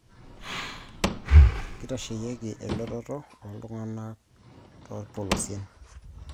Kitasheyieki elolototo oltung'anak toorpolosien